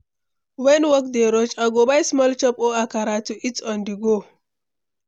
When work dey rush, I go buy small chops or akara to eat on-the-go.